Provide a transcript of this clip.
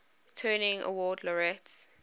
turing award laureates